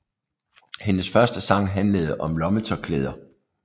Hendes første sang handlede om lommetørklæder